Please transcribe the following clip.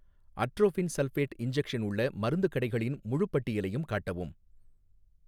atropine sulphate injection உள்ள மருந்துக் கடைகளின் முழுப் பட்டியலையும் காட்டவும்